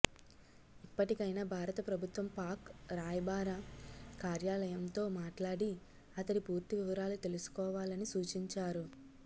ఇప్పటికైన భారత ప్రభుత్వం పాక్ రాయబార కార్యాలయంతో మాట్లాడి అతడి పూర్తి వివరాలు తెలుసుకోవాలని సూచించారు